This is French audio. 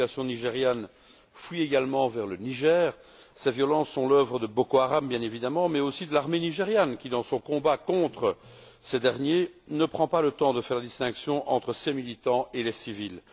La population nigériane fuit également vers le Niger. Ces violences sont l'œuvre de Boko Haram, bien évidemment, mais aussi de l'armée nigériane qui, dans son combat contre cette organisation, ne prend pas le temps de faire la distinction entre ses militants et les civils.